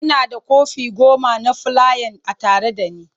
Ina da kwafi goma na fulayan a tare da ni.